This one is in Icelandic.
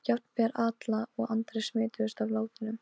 Jafnvel Alla og Andri smituðust af látunum.